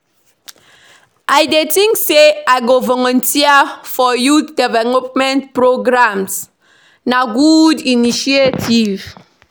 I dey think say I go volunteer for youth development programs; na good initiative.